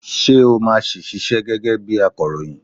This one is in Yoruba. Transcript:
Ṣé o máa si ṣiṣẹ́ gẹ́gẹ́ bi akọ̀ròyìn?